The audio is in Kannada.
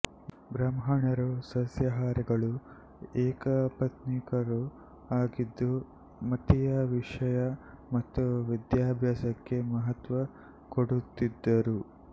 ಬ್ರಾಹ್ಮಣರು ಸಸ್ಯಾಹಾರಿಗಳೂ ಏಕಪತ್ನೀಕರೂ ಆಗಿದ್ದು ಮತೀಯ ವಿಷಯ ಮತ್ತು ವಿದ್ಯಾಭ್ಯಾಸಕ್ಕೆ ಮಹತ್ತ್ವ ಕೊಡುತ್ತಿದ್ದರು